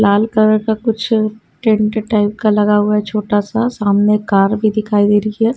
लाल colour का कुछ tent type का लगा हुआ है छोटा सा सामने कार भी दिखाई दे रही है।